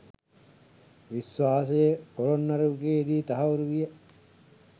විශ්වාසය පොළොන්නරු යුගයේ දී තහවුරු විය.